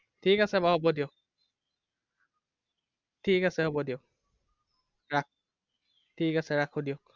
ঠিক আছে বাৰু হ'ব দিয়ক। ঠিক আছে হ'ব দিয়ক। ৰাখো ঠিক আছে ৰাখো দিয়ক।